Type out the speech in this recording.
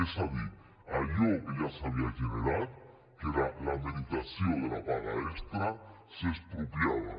és a dir allò que ja s’havia generat que era la meritació de la paga extra s’expropiava